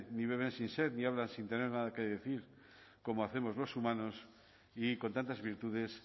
ni beben sin sed ni hablan sin tener nada que decir como hacemos los humanos y con tantas virtudes